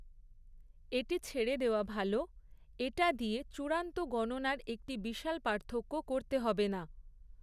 এটি ছেড়ে দেওয়া ভাল; এটা দিয়ে চূড়ান্ত গণনার একটি বিশাল পার্থক্য করতে হবে না।